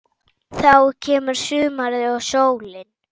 Þá kemur sumarið og sólin.